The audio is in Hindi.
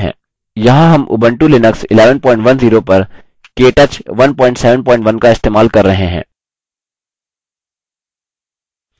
यहाँ हम उबंटू लिनक्स 1110 पर केटच 171 का इस्तेमाल कर रहे हैं